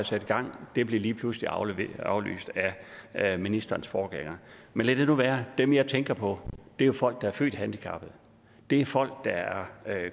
sat i gang og det blev lige pludselig aflyst aflyst af ministerens forgænger men lad det nu være dem jeg tænker på er jo folk der er født handicappet det er folk der er